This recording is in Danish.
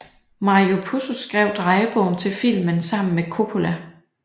Mario Puzo skrev drejebogen til filmen sammen med Coppola